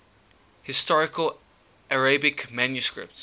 historical arabic manuscripts